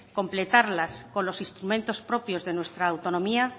completarla con los instrumentos propios de nuestra autonomía